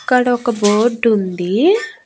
ఇక్కడ ఒక బోర్డుంది .